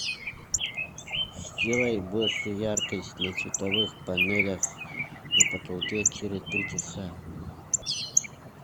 сделай больше яркость на световых панелях на потолке через три часа